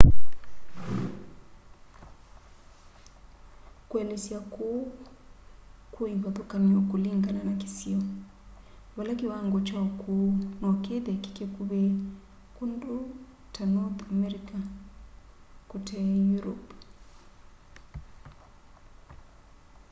kuelesya kuu kwi ivathukany'o kulingana na kisio vala kiwango kya ukuu no kithe ki kikuvi kundu ta north america kute europe